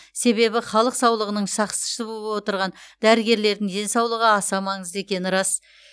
себебі халық саулығының сахсшысы боп отырған дәрігерлердің денсаулығы аса маңызды екені рас